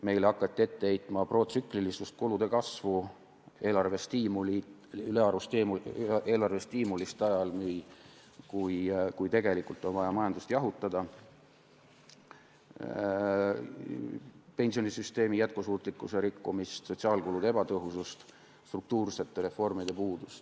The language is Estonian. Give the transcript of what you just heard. Meile hakati ette heitma protsüklilisust, kulude kasvu, ülearust eelarvestiimulit ajal, kui tegelikult oli vaja majandust jahutada, pensionisüsteemi jätkusuutlikkuse rikkumist, sotsiaalkulude ebatõhusust, struktuursete reformide puudumist.